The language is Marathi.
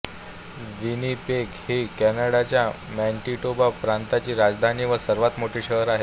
विनिपेग ही कॅनडाच्या मॅनिटोबा प्रांताची राजधानी व सर्वात मोठे शहर आहे